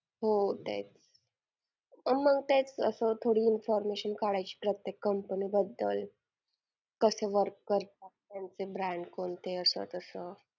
म रात्रीचा मी आणि माझी mummy आणि दोघीच जायचो.